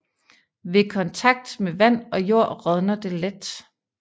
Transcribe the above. Ved kontakt med vand og jord rådner det let